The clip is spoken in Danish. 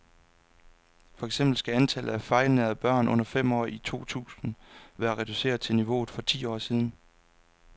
For eksempel skal antallet af fejlernærede børn under fem år i år to tusind være reduceret til niveauet for for ti år siden.